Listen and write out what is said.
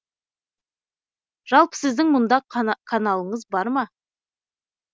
жалпы сіздің мұнда каналыңыз бар ма